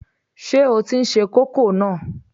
Ṣé o tí n se kókò náà?